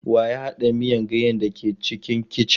Wa ya haɗa miyan ganyen da ke cikin kicin.